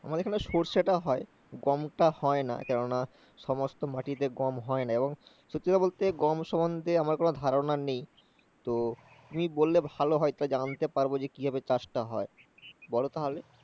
আমাদের এখানে সরষে টা হয় গম টা হয় না কেননা সমস্ত মাটিতে গম হয় না সত্যি কথা বলতে গম সম্বন্ধে আমার কোনো ধারণা নেই তো তুমি বললে ভালো হয় তাহলে জানতে পারবো চাষ টা কি ভাবে হয় বল তাহলে